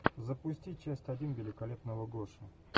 запусти часть один великолепного гоши